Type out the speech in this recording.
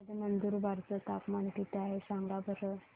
आज नंदुरबार चं तापमान किती आहे सांगा बरं